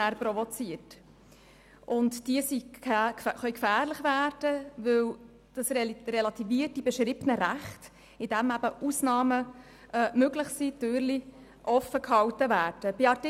Diese können gefährlich werden, weil durch «grundsätzlich» die beschriebenen Rechte relativiert werden, indem Ausnahmen möglich sind und Türchen offen gehalten werden.